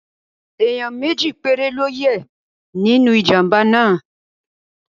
Ẹ̀níyàn méjì péré ló yẹ́ nínú ìjàmbá náà